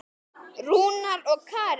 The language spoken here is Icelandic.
Blessuð sé minning þín, afi.